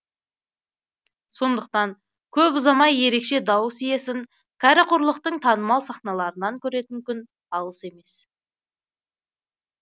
сондықтан көп ұзамай ерекше дауыс иесін кәрі құрлықтың танымал сахналарынан көретін күн алыс емес